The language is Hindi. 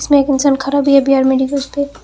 एक इंसान खड़ा भी है बी_आर मेडिकल स्टोर ।